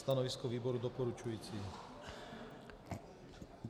Stanovisko výboru doporučující.